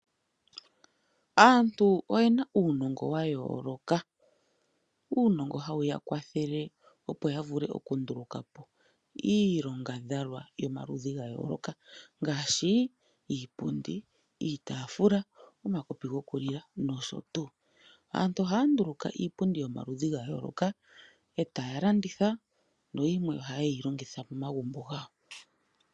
Aantu oye na uunongo wa yooloka. Uunongo hawu ya kwathele opo ya vule okunduluka po iilongadhalwa yomaludhi ga yooloka ngaashi iipundi, iitaafula, omakopi gokunwina nosho tuu. Aantu ohaya nduluka iipundi yomaludhi ga yooloka e taye yi landitha nayimwe ohaye yi longitha momagumbo gawo.